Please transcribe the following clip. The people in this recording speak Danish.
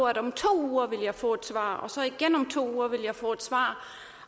at om to uger ville jeg få et svar og så igen om to uger ville jeg få et svar